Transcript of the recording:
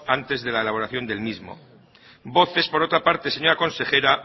antes de la de elaboración del mismo voces por otra parte señora consejera